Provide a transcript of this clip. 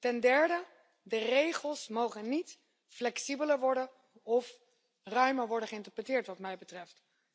Ten derde, de regels mogen niet flexibeler worden of ruimer worden geïnterpreteerd, wat mij betreft.